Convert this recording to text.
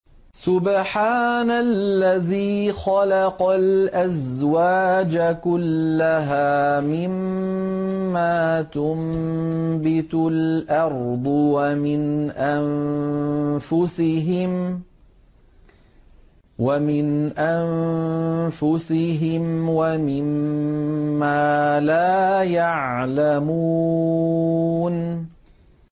سُبْحَانَ الَّذِي خَلَقَ الْأَزْوَاجَ كُلَّهَا مِمَّا تُنبِتُ الْأَرْضُ وَمِنْ أَنفُسِهِمْ وَمِمَّا لَا يَعْلَمُونَ